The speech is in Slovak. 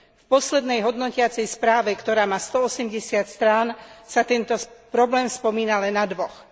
V poslednej hodnotiacej správe, ktorá má stoosemdesiat strán, sa tento problém spomína len na dvoch.